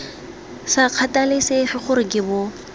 sa kgathalesege gore ke bo